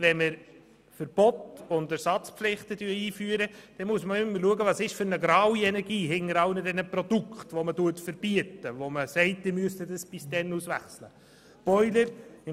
Wenn wir Verbote und Ersatzpflichten einführen, muss man immer schauen, welche Graue Energie sich hinter den Produkten befindet, die man verbietet und die ausgewechselt werden müssen.